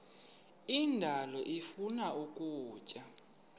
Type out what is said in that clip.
indalo ifuna ukutya